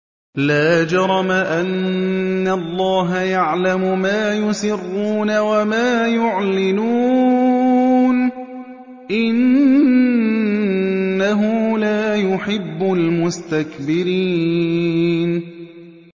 لَا جَرَمَ أَنَّ اللَّهَ يَعْلَمُ مَا يُسِرُّونَ وَمَا يُعْلِنُونَ ۚ إِنَّهُ لَا يُحِبُّ الْمُسْتَكْبِرِينَ